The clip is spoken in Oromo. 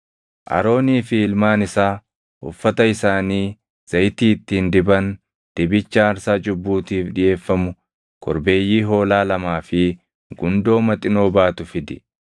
“Aroonii fi ilmaan isaa, uffata isaanii, zayitii ittiin diban, dibicha aarsaa cubbuutiif dhiʼeeffamu, korbeeyyii hoolaa lamaa fi gundoo maxinoo baatu fidi;